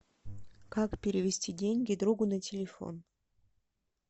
как перевести деньги другу на телефон